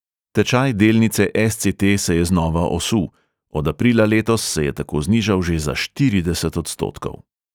Tečaj delnice es|ce|te se je znova osul – od aprila letos se je tako znižal že za štirideset odstotkov.